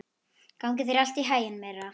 Gangi þér allt í haginn, Myrra.